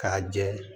K'a jɛ